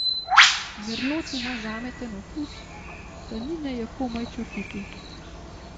Merlot ima žameten okus, tanine je komaj čutiti.